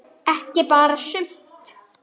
Ekki bara sumt.